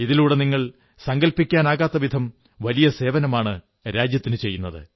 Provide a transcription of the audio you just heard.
ഇതിലൂടെ നിങ്ങൾ സങ്കല്പിക്കാനാകാത്തവിധം വലിയ സേവനമാണ് രാജ്യത്തിനു ചെയ്യുന്നത്